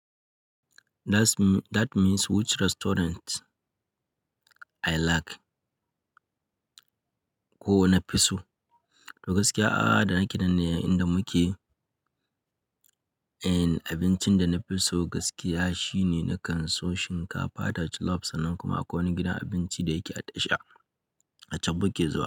That means which restaurant I like ko na fi so. To gaskiya, a da nake dan ne inda muke, eh abincin da na fi so gaskiya shine na kan so shinkafa da jollof sannan kuma akwai wani gidan abinci da yake a tasha a can mu ke zuwa.